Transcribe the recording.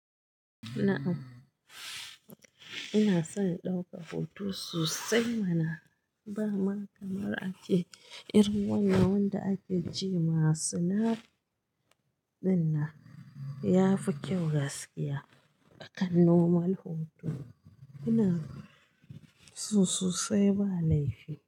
Na'am, ina son in ɗauka hoto sosai mana. Ba ma kamar ace, irin wannan wanda ake ji masu na ɗin nan. Yafi kyau gaskiya, akan normal hoto ina so sosai ba laifi.